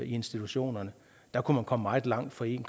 institutionerne der kunne man komme meget langt for en